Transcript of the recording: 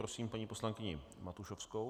Prosím paní poslankyni Matušovskou.